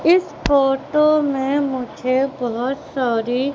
इस फोटो में मुझे बहुत सारी--